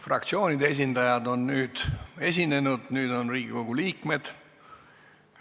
Fraktsioonide esindajad on esinenud, nüüd saavad sõna Riigikogu liikmed.